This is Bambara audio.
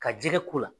Ka jɛgɛ ko la